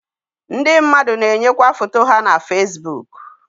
Ndị mmadụ na-echekwa foto ha na Fesibuku.